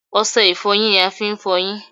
Ọṣẹ ìfọyín ni a fi ń f'ọyín.